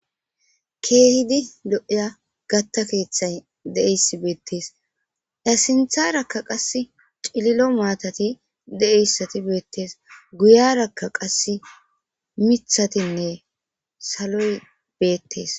Kehidi lo'ya gaatta keththay deiyasi bettes a sinththaraka qassi cillilo maatati deiyaysati bettes guyyeraka qassi miththatinne saloy bettes.